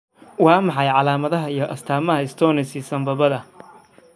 Waa maxay calaamadaha iyo astaamaha stenosis sambabada?